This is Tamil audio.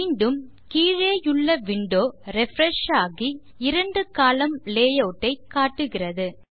மீண்டும் கீழேயுள்ள விண்டோ ரிஃப்ரெஷ் ஆகி இரண்டு கோலம்ன் லேயூட் ஐ காட்டுகிறது